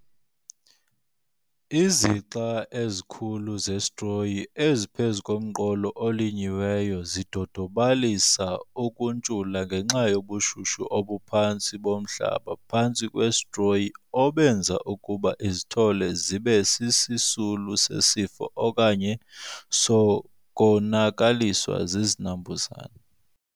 Izixa ezikhulu zesitroyi eziphezu komqolo olinyiweyo zidodobalalisa ukuntshula ngenxa yobushushu obuphantsi bomhlaba phantsi kwesitroyi obenza ukuba izithole zibe sisisulu sesifo okanye sokonakaliswa zizinambuzane.